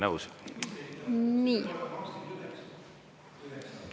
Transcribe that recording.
Nõus!